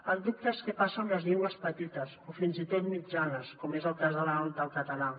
el dubte és què passa amb les llengües petites o fins i tot mitjanes com és el cas del català